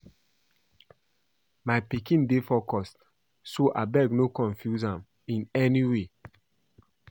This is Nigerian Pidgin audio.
My pikin dey focused so abeg no confuse am in any way